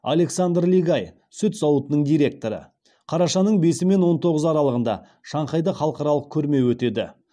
александр лигай сүт зауытының директоры қарашаның бесі мен он тоғызы аралығында шанхайда халықаралық көрме өтеді